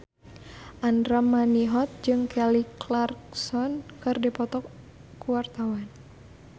Andra Manihot jeung Kelly Clarkson keur dipoto ku wartawan